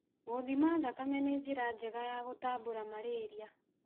Gũthima thakame nĩ njĩra njega ya gũtambũra malaria.